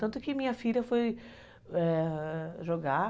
Tanto que minha filha foi , ãh, jogar.